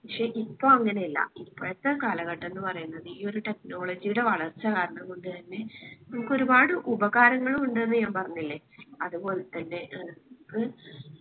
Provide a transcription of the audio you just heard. പക്ഷെ ഇപ്പോ അങ്ങനെയല്ല ഇപ്പോഴത്തെ കാലഘട്ടം എന്ന് പറയുന്നത് ഈ ഒരു technology യുടെ വളർച്ച കാരണം കൊണ്ട് തന്നെ നമ്മുക്ക് ഒരുപാട് ഉപഹാരങ്ങളും ഉണ്ട് ന്ന്‌ ഞാൻ പറഞ്ഞില്ലേ അത് പൊൽത്തന്നെ